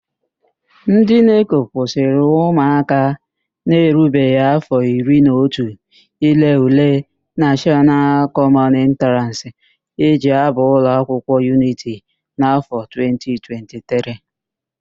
NdỊ NECO kwụsịrị ụmụaka na-erubeghi áfọ iri na otu ile ule nashọnal kọmọn entraans e ji ábà ụlọakwụkwọ yuniti na áfọ 2023